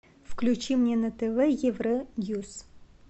включи мне на тв евроньюс